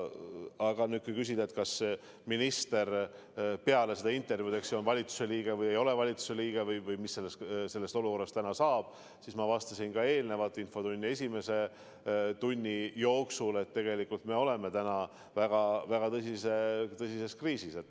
Aga kui küsida, kas minister peale seda intervjuud on valitsuse liige või ei ole valitsuse liige või mis sellest olukorrast täna saab, siis ma vastasin infotunni esimese tunni jooksul, et tegelikult me oleme täna väga tõsises kriisis.